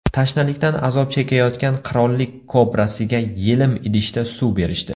Tashnalikdan azob chekayotgan qirollik kobrasiga yelim idishda suv berishdi .